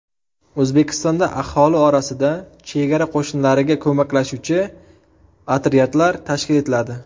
O‘zbekistonda aholi orasida Chegara qo‘shinlariga ko‘maklashuvchi otryadlar tashkil etiladi.